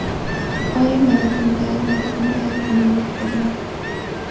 Oy mana bunday, mana bunday bo‘lur’, dedilar.